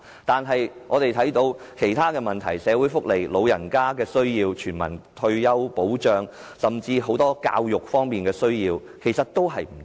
但是，我們眼見其他方面，例如社會福利、長者需要、全民退休保障，甚至教育等都有不足。